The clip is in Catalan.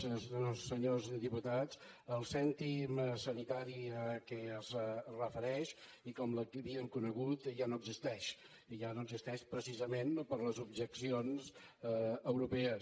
senyores i senyors diputats el cèntim sanitari a què es refereix i com l’havíem conegut ja no existeix i ja no existeix precisament per les objeccions europees